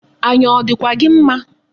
Anya ọ dịkwa gị mma?